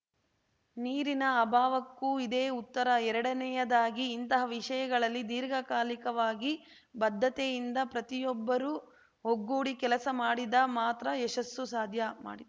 ನೀರಿನ ಅಭಾವಕ್ಕೂ ಇದೇ ಉತ್ತರ ಎರಡನೆಯದಾಗಿ ಇಂತಹ ವಿಷಯಗಳಲ್ಲಿ ದೀರ್ಘಕಾಲಿಕವಾಗಿ ಬದ್ಧತೆಯಿಂದ ಪ್ರತಿಯೊಬ್ಬರೂ ಒಗ್ಗೂಡಿ ಕೆಲಸ ಮಾಡಿದ ಮಾತ್ರ ಯಶಸ್ಸು ಸಾಧ್ಯ ಮಾಡಿದ್